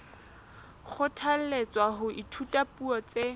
kgothalletswa ho ithuta dipuo tse